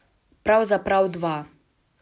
Pravzaprav dva.